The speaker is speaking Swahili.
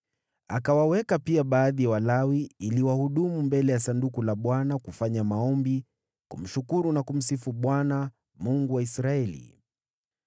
Akawaweka pia baadhi ya Walawi ili wahudumu mbele ya Sanduku la Bwana kufanya maombi, kumshukuru na kumsifu Bwana , Mungu wa Israeli: